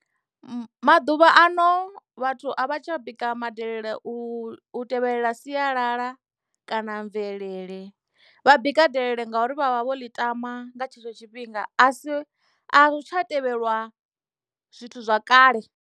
Maḓuvha ano vhathu a vha tsha bika madelele u tevhelela sialala kana mvelele vha bika delele ngauri vha vha vho ḽi tama nga tshetsho tshifhinga a ri tsha tevhelwa zwithu zwa kale.